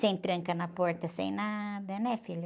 Sem tranca na porta, sem nada, né, filho?